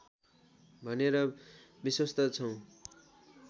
भनेर विश्वस्त छौँ